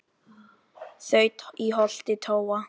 þaut í holti tóa